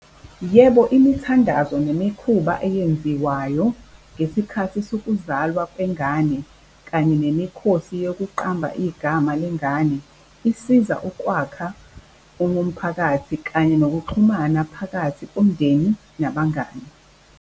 Yebo, imithandazo nemikhuba eyenziwayo ngesikhathi sokuzalwa kwengane kanye nemikhosi yokuqamba igama lengane isiza ukwakha umphakathi, kanye nokuxhumana phakathi omndeni nabangani.